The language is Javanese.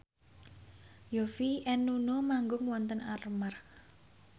Yovie and Nuno manggung wonten Armargh